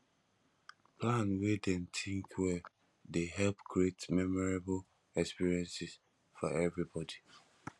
plan wey dem think well dey help create memorable experiences for everybody